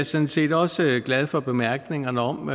sådan set også glad for bemærkningerne om om